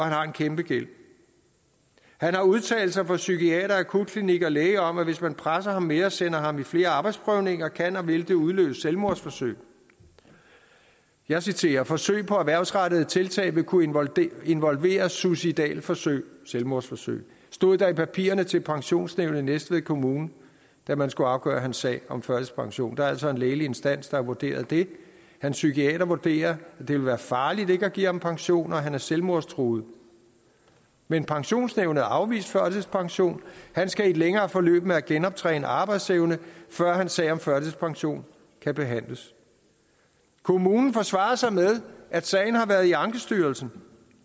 har en kæmpegæld han har udtalelser fra psykiater akutklinik og læge om at hvis man presser ham mere og sender ham i flere arbejdsprøvninger kan og vil det udløse selvmordsforsøg jeg citerer forsøg på erhvervsrettede tiltag vil kunne involvere involvere suicidalforsøg selvmordsforsøg det stod der i papirerne til pensionsnævnet i næstved kommune da man skulle afgøre hans sag om førtidspension der er altså en lægelig instans der har vurderet det hans psykiater vurderer at det vil være farligt ikke at give ham pension og at han er selvmordstruet men pensionsnævnet afviste førtidspension han skal i et længere forløb med at genoptræne arbejdsevnen før hans sag om førtidspension kan behandles kommunen forsvarede sig med at sagen har været i ankestyrelsen